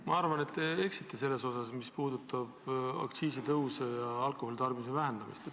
Ma arvan, et te eksite selles osas, mis puudutab aktsiisitõuse ja alkoholi tarbimise vähenemist.